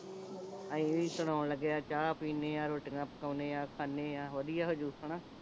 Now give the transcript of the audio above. ਅਸੀਂ ਵੀ ਸੁਣਾਉਣ ਲੱਗੇ ਆਂ ਚਾਹ ਪੀਣੇ ਆਂ ਰੋਟੀਆਂ ਪਕਾਉਣੇ ਆਂ ਖਾਨੇ ਆਂ ਵਧੀਆ ਹੋਜੂ ਗਾ ਨਾ